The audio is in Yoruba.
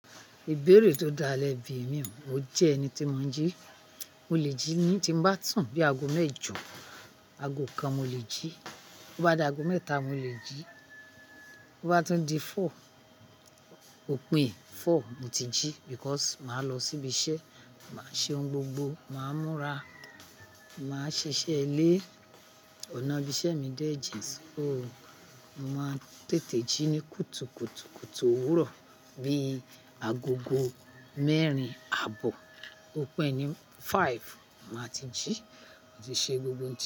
Ìbéèrè tó dá lẹ̀ bí i mi ò jẹ́ ẹni tí mo ń jí. Mo lè jí ní tí ń bá sun bí i aago mẹ́jọ, aago kan mo lè jí. Bo bá di aago mẹ́ta, mo lè jí. Bo bá tún di four, òpin four mo ti jí nitori pé màá lọ síbi iṣẹ́, màá ṣe ohun gbogbo, màá múra, màá ṣiṣẹ́ elé. Ọ̀nà ibi iṣẹ́ mi dẹ́ jin. Oh, màá tètè jí ní kùtùkùtù kùtù òwúrọ̀ bí i agogo mẹ́rin àbọ̀, òpin ní màrun màá ti jí, mo ti ṣe gbogbo nǹkan.